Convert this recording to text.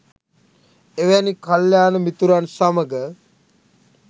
එවැනි කල්‍යාණ මිතුරන් සමඟ